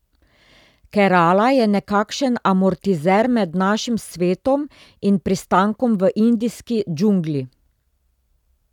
Kerala je nekakšen amortizer med našim svetom in pristankom v indijski džungli.